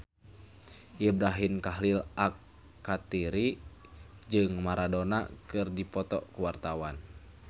Ibrahim Khalil Alkatiri jeung Maradona keur dipoto ku wartawan